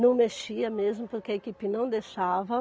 Não mexia mesmo, porque a equipe não deixava.